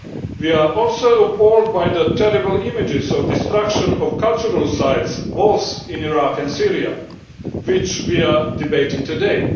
We are also appalled by the terrible images of destruction of cultural sites both in Iraq and Syria, which we are debating today.